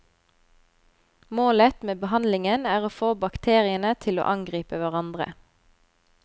Målet med behandlingen er å få bakteriene til å angripe hverandre.